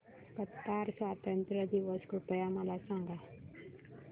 Qatar स्वातंत्र्य दिवस कृपया मला सांगा